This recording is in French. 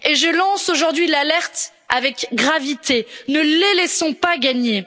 Et je lance aujourd'hui l'alerte avec gravité ne les laissons pas gagner.